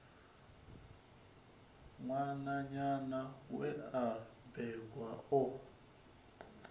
ṅwananyana we a bebwa o